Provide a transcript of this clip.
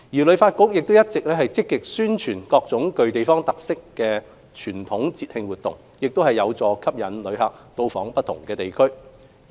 旅發局亦一直積極宣傳各種具地方特色的傳統節慶活動，亦有助吸引旅客到訪不同地區。